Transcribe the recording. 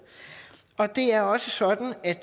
det er også sådan at